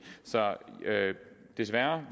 så desværre